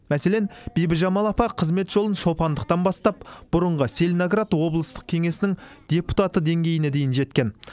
мәселен бибіжамал апа қызмет жолын шопандықтан бастап бұрынғы целиноград облыстық кеңесінің депутаты деңгейіне дейін жеткен